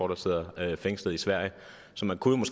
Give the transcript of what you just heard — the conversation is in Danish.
der sidder fængslet i sverige så man kunne